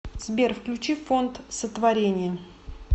сбер включи фонд сотворение